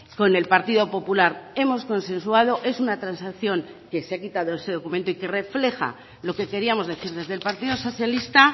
con el partido popular hemos consensuado es una transacción que se ha quitado ese documento y que refleja lo que queríamos decir desde el partido socialista